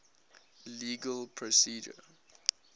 legal procedure